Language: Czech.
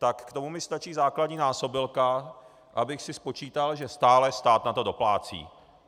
Tak k tomu mi stačí základní násobilka, abych si spočítal, že stále na to stát doplácí.